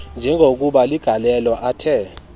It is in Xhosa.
njengokuba ligalelo athe